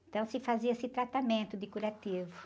Então, se fazia esse tratamento de curativo.